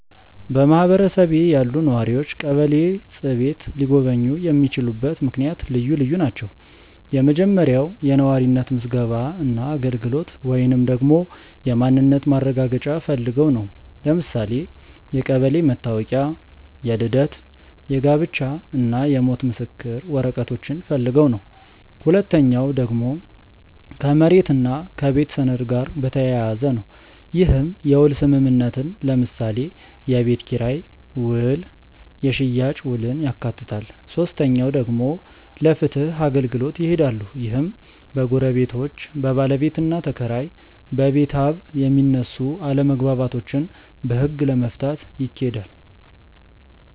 በማህበረሰቤ ያሉ ነዋሪዎች ቀበሌ ጽ/ቤት ሊጎበኙ የሚችሉበት ምክንያት ልዩ ልዩ ናቸው። የመጀመሪያው የነዋሪነት ምዝገባ እና አገልግሎት ወይንም ደግሞ የማንነት ማረጋገጫ ፈልገው ነው። ለምሳሌ የቀበሌ መታወቂያ፣ የልደት፣ የጋብቻ እና የሞት ምስክር ወረቀቶችን ፈልገው ነው። ሁለተኛው ደግሞ ከመሬት እና ከቤት ሰነድ ጋር በተያያዘ ነው። ይህም የውል ስምምነትን ለምሳሌ የቤት ኪራይ ውል የሽያጭ ውልን ያካትታል። ሶስተኛው ደግሞ ለፍትህ አገልግሎት ይሄዳሉ። ይህም በጎረቤቶች፣ በባለቤትና ተከራይ እና በቤታብ የሚነሱ አለመግባባቶችን በህግ ለመፍታት ይኬዳል።